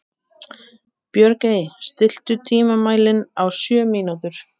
Björgey, stilltu tímamælinn á sjö mínútur.